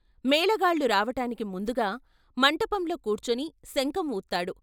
మేళగాళ్ళు రావటానికి ముందుగా మంటపంలో కూర్చొని శంఖం వూత్తాడు.